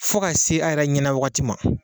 Fɔ ka se a yɛrɛ ɲɛna wagati ma.